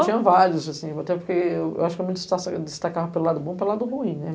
tinha vários, assim, até porque eu eu acho que eu me eu me destacava para o lado bom para o lado ruim, né?